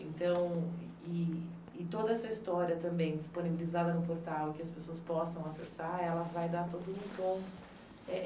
Então, e e toda essa história também disponibilizada no portal, que as pessoas possam acessar, ela vai dar todo um tom. É